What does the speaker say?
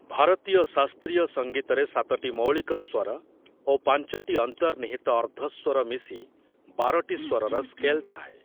ଭାରତୀୟ ଶାସ୍ତ୍ରୀୟ ସଂଗୀତରେ ସାତଟି ମୌଳିକ ସ୍ଵର ଓ ପାଞ୍ଚଟି ଅନ୍ତର୍ନିହିତ ଅର୍ଦ୍ଧସ୍ଵର ମିଶି ବାରଟି ସ୍ଵରର ସ୍କେଲ୍ ଥାଏ ।